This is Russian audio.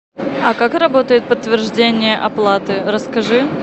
а как работает подтверждение оплаты расскажи